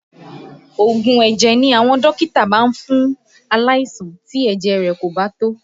Oògùn ẹ̀jẹ̀ ni àwọn dókítà máa ń fún aláìsàn tí ẹ̀jẹ̀ rẹ̀ kò bá tó